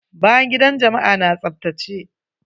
Bayan gidan jama'a na tsaftace?